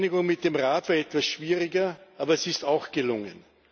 Die Einigung mit dem Rat war etwas schwieriger, aber sie ist auch gelungen.